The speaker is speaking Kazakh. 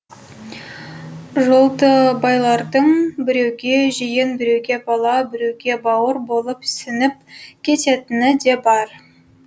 жолдыбайлардың біреуге жиен біреуге бала біреуге бауыр болып сіңіп кететіні де бар